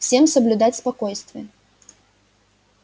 всем соблюдать спокойствие